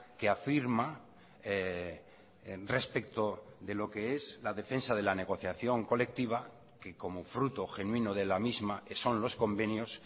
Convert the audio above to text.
que afirma respecto de lo que es la defensa de la negociación colectiva que como fruto genuino de la misma que son los convenios